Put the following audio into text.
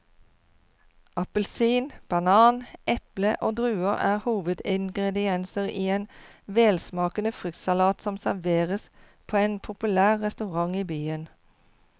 Appelsin, banan, eple og druer er hovedingredienser i en velsmakende fruktsalat som serveres på en populær restaurant i byen.